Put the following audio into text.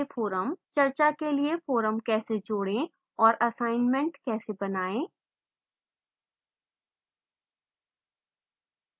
चर्चा के लिए forum कैसे जोड़े और assignments कैसे बनाएं